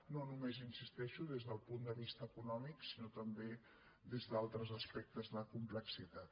no només hi insisteixo des del punt de vista econòmic sinó també des d’altres aspectes de complexitat